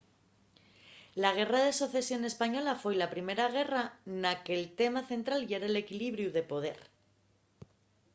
la guerra de socesión española foi la primera guerra na que’l tema central yera l’equilibriu de poder